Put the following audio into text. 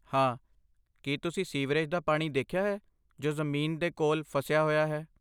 ਹਾਂ, ਕੀ ਤੁਸੀਂ ਸੀਵਰੇਜ ਦਾ ਪਾਣੀ ਦੇਖਿਆ ਹੈ ਜੋ ਜ਼ਮੀਨ ਦੇ ਕੋਲ ਫਸਿਆ ਹੋਇਆ ਹੈ?